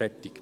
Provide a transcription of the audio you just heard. Fertig!